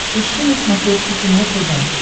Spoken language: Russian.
ищи на смотрешке кино тв